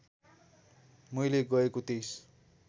मैले गएको २३